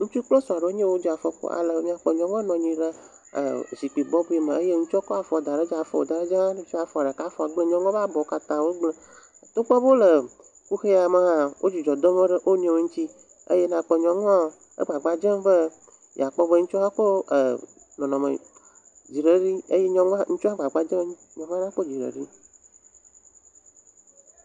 Ŋutsu kple srɔ̃ aɖe enye yawo wodze afɔku ale be nyɔnua nɔ anyi ɖe er zikpui bɔbɔ me eye ŋutsua kɔ afɔ da ɖe edzi, afɔ woda ɖe dzia, fifia afɔ ɖeka gblẽ, nyɔnua ƒe abɔ katã wogblẽ. Togbɔ be wole kuxia me hã wo dzidzɔ dom ɖe wonuiwo ŋuti eye nakpɔ nyɔnua egbagba dzem be yeakpɔ be ŋutsu ko eer nɔnɔme … eye ŋutsua hã gbagba dzem be nekpɔ dzidzɔ vie.